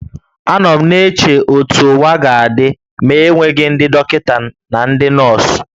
Anọ m na-eche otú ụwa ga-adị ma enweghị ndị dọkịta na ndị nọọsụ